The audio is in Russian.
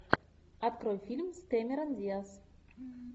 открой фильм с кэмерон диаз